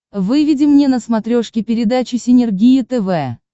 выведи мне на смотрешке передачу синергия тв